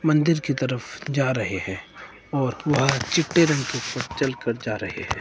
मंदिर की तरफ जा रहे हैं और वह चिट्टे रंग के ऊपर चलकर जा रहे हैं।